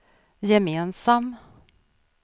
gemensam